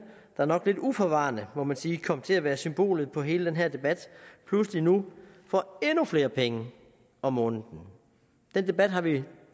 der nok lidt uforvarende må man sige kom til at være symbolet på hele den her debat pludselig nu får endnu flere penge om måneden den debat har vi